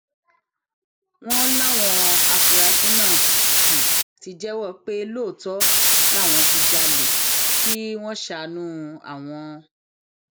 wọn láwọn afurasí náà ti jẹwọ pé lóòótọ làwọn ń jalè kí wọn ṣàánú àwọn